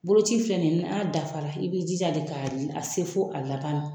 Boloci filɛ nin ye n'a dafala i b'i jija de k'a se fo a laban na.